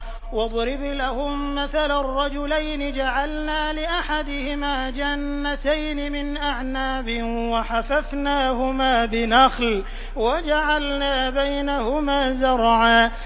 ۞ وَاضْرِبْ لَهُم مَّثَلًا رَّجُلَيْنِ جَعَلْنَا لِأَحَدِهِمَا جَنَّتَيْنِ مِنْ أَعْنَابٍ وَحَفَفْنَاهُمَا بِنَخْلٍ وَجَعَلْنَا بَيْنَهُمَا زَرْعًا